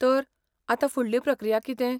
तर, आतां फुडली प्रक्रिया कितें?